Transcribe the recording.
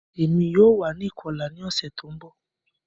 Emi yoo wa ni ikọla ni ọsẹ ti n bọ